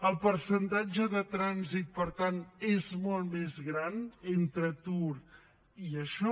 el percentatge de trànsit per tant és molt més gran entre atur i això